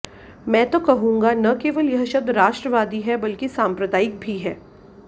मैं तो कहूंगा न केवल यह शब्द राष्ट्रवादी है बल्कि सांप्रदायिक भी है